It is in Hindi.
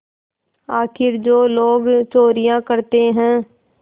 आखिर जो लोग चोरियॉँ करते हैं